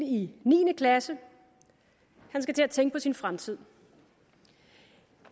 i niende klasse han skal til at tænke på sin fremtid